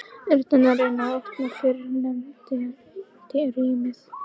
urnar reyna að opna fyrrnefnda rýmið.